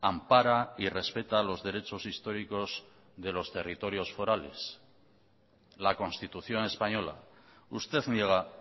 ampara y respeta los derechos históricos de los territorios forales la constitución española usted niega